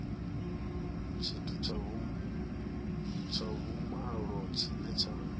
tshithu tsha vhumalo tshine tsha